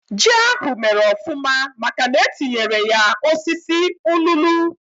Ji ahú mèrè ofụma màkà na etinyere ya osisi ụlulu